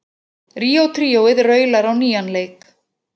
Ríó tríóið raular á nýjan leik